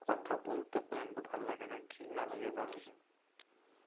কথা বলতে পর্যন্ত ভাল লাগেনা ঘৃর্ণা লাগে তাদেরকে